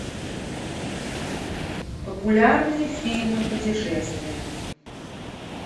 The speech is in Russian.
популярные фильмы путешествия